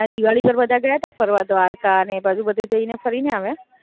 હમણાં દિવાળી પર બધા ગયા તા ફરવા દ્વારકા ને એ બાજુ બધે જઈને ફરીને આવ્યા.